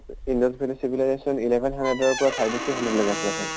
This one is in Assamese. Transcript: indus valley civilization eleven hundred ৰ পৰা thirty three hundred লৈকে আছিলে চাগে।